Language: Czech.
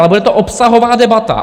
Ale bude to obsahová debata.